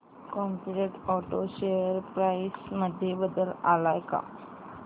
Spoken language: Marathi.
कॉम्पीटंट ऑटो शेअर प्राइस मध्ये बदल आलाय का